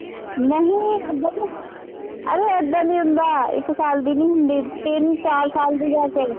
ਨਹੀਂ ਏਦਾਂ ਨਹੀਂ, ਅਰੇ ਏਦਾਂ ਨਹੀਂ ਹੁੰਦਾ, ਇੱਕ ਸਾਲ ਦੀ ਨਹੀਂ ਹੁੰਦੀ, ਤਿੰਂਨ ਚਾਰ ਸਾਲ ਦੀ ਜਾ ਕੇ